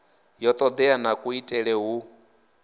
ya todea na kuitele hu